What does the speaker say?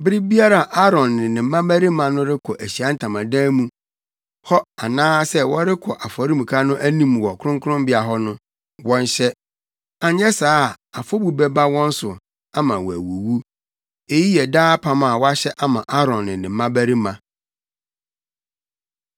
Bere biara a Aaron ne ne mmabarima no rekɔ Ahyiae Ntamadan mu hɔ anaasɛ wɔrekɔ afɔremuka no anim wɔ kronkronbea hɔ no, wɔnhyɛ. Anyɛ saa a afɔbu bɛba wɔn so ama wɔawuwu. “Eyi yɛ daa apam a wɔahyɛ ama Aaron ne ne mmabarima.